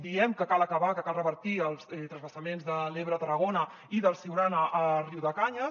diem que cal acabar que cal revertir els transvasaments de l’ebre a tarragona i del siurana a riudecanyes